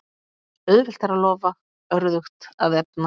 Auðvelt er að lofa, örðugt að efna.